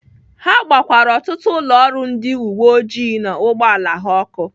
Ha gbakwaara ọtụtụ ụlọ ọrụ ndị uweojii na ụgbọala ha ọkụ.